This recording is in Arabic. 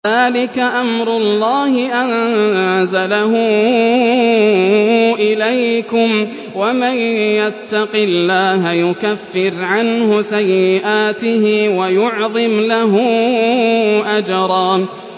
ذَٰلِكَ أَمْرُ اللَّهِ أَنزَلَهُ إِلَيْكُمْ ۚ وَمَن يَتَّقِ اللَّهَ يُكَفِّرْ عَنْهُ سَيِّئَاتِهِ وَيُعْظِمْ لَهُ أَجْرًا